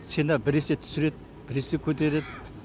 цена біресе түсіреді біресе көтереді